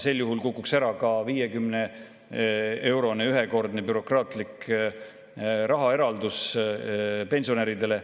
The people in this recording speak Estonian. Sel juhul kukuks ära ka 50‑eurone ühekordne bürokraatlik rahaeraldis pensionäridele.